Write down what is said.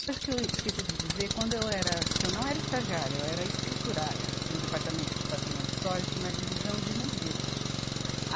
Uma coisa que eu esqueci de dizer, quando eu era que eu não era estagiária, eu era escriturária no Departamento de Patrimônio Histórico, na divisão de museus. A